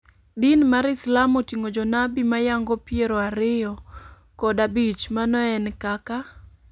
Din mar islam oting'o jonabi mayango piero ariyo kod abich, mano en kaka.